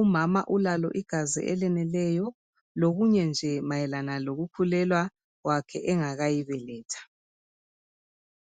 umama ulalo igazigazi elaneleyo, lokunye nje mayelana lokukhulelwa kwakhe engakayi beletha.